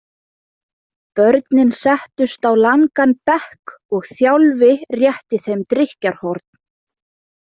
Börnin settust á langan bekk og Þjálfi rétti þeim drykkjarhorn.